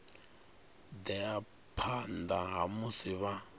ḓea phanḓa ha musi vha